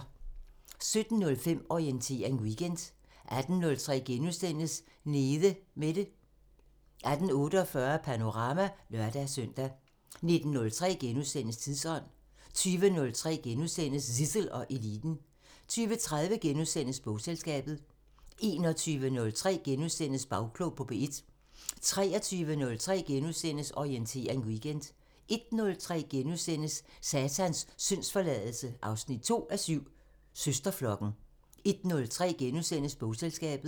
17:05: Orientering Weekend 18:03: Nede Mette * 18:48: Panorama (lør-søn) 19:03: Tidsånd * 20:03: Zissel og Eliten * 20:30: Bogselskabet * 21:03: Bagklog på P1 * 23:03: Orientering Weekend * 01:03: Satans syndsforladelse 2:7 – Søsterflokken * 01:30: Bogselskabet *